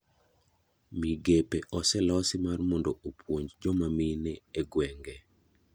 Migepe oselosi mar mondo opuonj joma mine e gwenge.